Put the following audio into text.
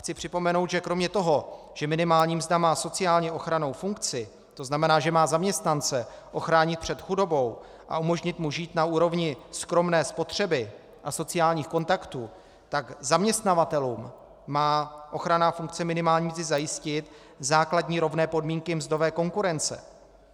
Chci připomenout, že kromě toho, že minimální mzda má sociálně ochrannou funkci, to znamená, že má zaměstnance ochránit před chudobou a umožnit mu žít na úrovni skromné spotřeby a sociálních kontaktů, tak zaměstnavatelům má ochranná funkce minimální mzdy zajistit základní rovné podmínky mzdové konkurence.